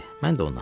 Mən də ona.